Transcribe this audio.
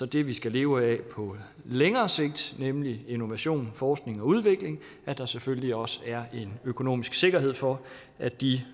det vi skal leve af på længere sigt nemlig innovation og forskning og udvikling og at der selvfølgelig også er en økonomisk sikkerhed for at de